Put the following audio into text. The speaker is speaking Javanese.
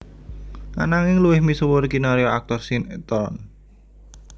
Ananging luwih misuwur kinarya aktor sinétron